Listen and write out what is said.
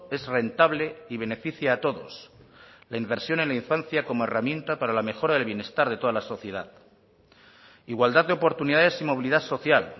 es rentable y beneficia a todos la inversión en la infancia como herramienta para la mejora del bienestar de toda la sociedad igualdad de oportunidades y movilidad social